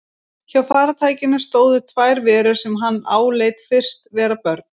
Hjá farartækinu stóðu tvær verur sem hann áleit fyrst vera börn.